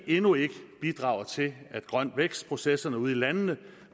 endnu ikke bidrager til at grøn vækst processerne ude i landene